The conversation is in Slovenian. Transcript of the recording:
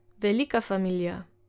Velika familija.